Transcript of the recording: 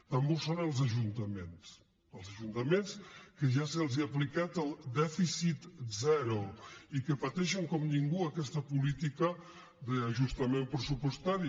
també ho són els ajuntaments els ajuntaments que ja se’ls ha aplicat el dèficit zero i que pateixen com ningú aquesta política d’ajustament pressupostari